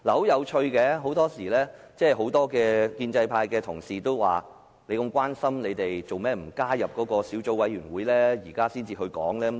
有趣的是，很多建制派同事說，如果民主派議員這麼關心此事，為何他們不加入該小組委員會，現在才提出意見？